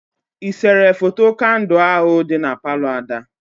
Ị sere foto kandụ ahụ dị na Palọ Ada?